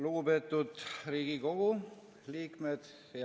Lugupeetud Riigikogu liikmed!